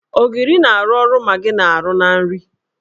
Ogiri na-arụ ọrụ Magị na -arụ na nri.